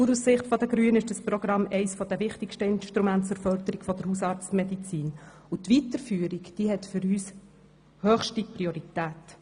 Auch aus Sicht der Grünen ist das eines der wichtigsten Programme zur Förderung der Hausarztmedizin und hat seine Weiterführung höchste Priorität.